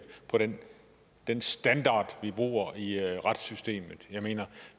på den den standard vi bruger i retssystemet jeg mener